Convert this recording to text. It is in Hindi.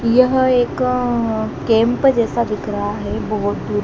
यह एक कैंप जैसा दिख रहा है बहोत दूर--